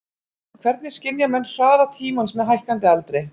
Hvernig skynja menn hraða tímans með hækkandi aldri?